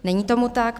Není tomu tak.